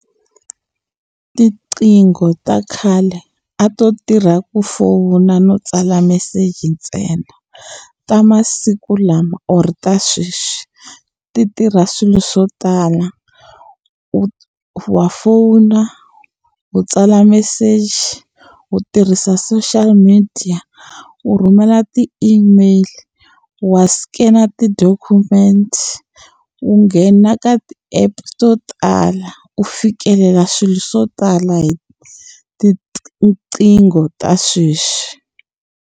Tiqingho ta khale a to tirha ku fona no tsala meseji ntsena ta masiku lama or ta sweswi ti tirha swilo swo tala u wa fona u tsala meseji u tirhisa social media u rhumela ti-email wa scan-a ti-document u nghena ka ti-app to tala u fikelela swilo swo tala hi tinqingho ta sweswi.